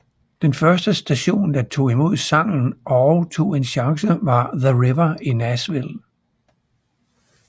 Den første station der tog imod sangen og tog en chance var The River i Nashville